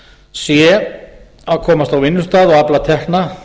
sé að komast á vinnustað og afla tekna